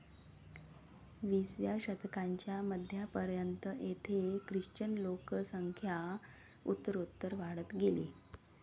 विसाव्या शतकाच्या मध्यापर्यंत, येथे ख्रिश्चन लोकसंख्या उत्तरोत्तर वाढत गेली.